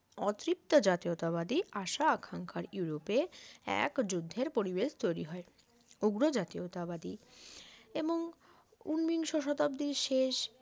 অতৃপ্ত জাতীয়তাবাদী আশা আখাঙ্খার ইউরোপ এক যুদ্ধের পরিবেশ তৈরি হয় উগ্র জাতীয়তাবাদী এবং ঊনবিংশ শতাব্দীর শেষ